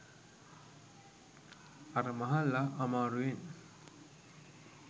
අර මහල්ලා අමාරුවෙන්